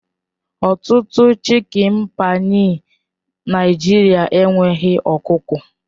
Ọtụtụ chịkin páyi Naịjirịa enweghị ọkụkọ